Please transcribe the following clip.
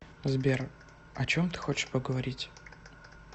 сбер о чем ты хочешь поговорить